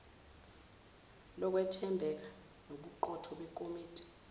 lokwethembeka nobuqotho bekomiti